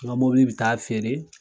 N ga mɔbili bi taa feere